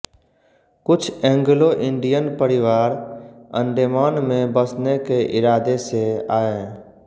कुछ एंग्लोंइंडियन परिवार अण्डेमान में बसने के इरादे से आए